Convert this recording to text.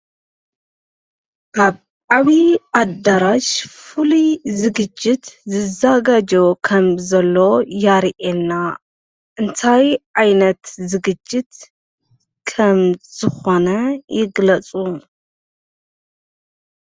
ካብ ዓብዪ ኣዳራሽ ፍሉይ ዝግጅት ዝዘጋጆ ከምዘሎ የርእየና፡፡ እንታይ ዓይነት ዝግጅት ከም ዝኾነ ይግለፁ፡፡